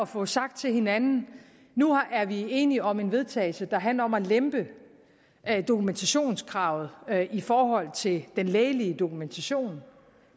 få sagt til hinanden at nu er vi enige om et vedtagelse der handler om at lempe dokumentationskravet i forhold til den lægelige dokumentation